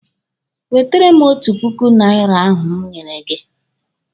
Wetere m otu puku naira ahụ m nyere gị!